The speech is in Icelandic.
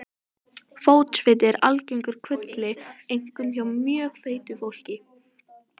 Fótsviti eru algengur kvilli, einkum hjá mjög feitu fólki.